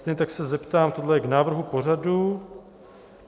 Stejně tak se zeptám - tohle je k návrh pořadu?